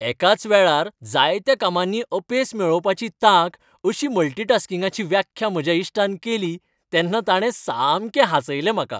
एकाच वेळार जायत्या कामांनी अपेस मेळोवपाची तांक अशी मल्टी टास्किंगाची व्याख्या म्हज्या इश्टान केली तेन्ना ताणें सामकें हांसयलें म्हाका.